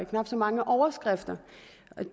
knap så mange overskrifter